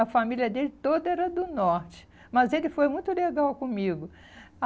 A família dele toda era do Norte, mas ele foi muito legal comigo.